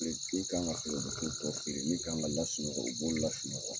Min k'an ka feere, u bu to tɔ feere, min k'an ka lasunɔgɔ, u b'o lasunɔgɔ